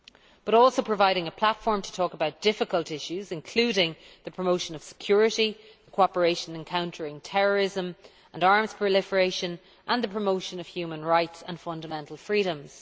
But, it also provides a platform to talk about difficult issues, including the promotion of security, the cooperation in countering terrorism and arms proliferation and the promotion of human rights and fundamental freedoms.